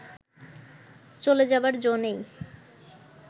চ’লে যাবার জো নেই